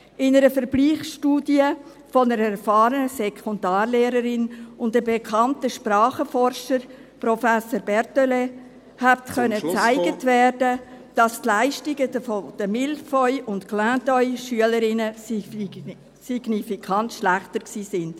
In einer Vergleichsstudie einer erfahrenen Sekundarlehrerin und eines bekannten Sprachenforschers, Professor Berthele, konnte gezeigt werden, dass die Leistungen der Mille-feuilles- und Clin-d’œli-Schülerinnen signifikant schlechter waren.